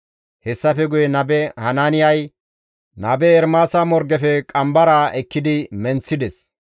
Hessafe guye nabe Hanaaniyay nabe Ermaasa morgefe qambaraa ekkidi menththides.